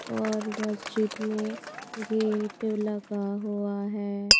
और मस्जिद में गेट लगा हुआ है.